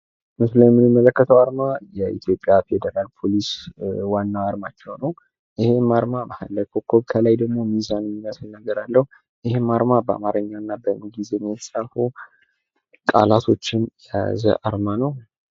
ምስሉ ላይ የምንመለከተው አርማ የኢትዮጵያ ፌዴራል ፖሊስ ዋና አርማቸው ነው። ይህም አርማ ከመሀል ኮከብ ከላይ ደግሞ ሚዛን የሚመስል ነገር አለው። ይህም አርማ በአማርኛ እና በእንግሊዝኛ የተጻፉ ቃላቶችን የያዘው አርማ ነው።